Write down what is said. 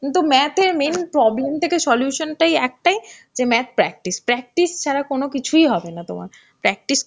কিন্তু math এ main problem থেকে solution টাই একটাই যে math practice. practice ছাড়া কোনো কিছুই হবে না তোমার. practice